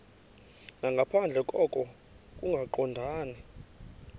nangaphandle koko kungaqondani